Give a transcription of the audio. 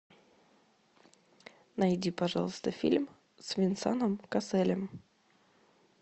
найди пожалуйста фильм с венсаном касселем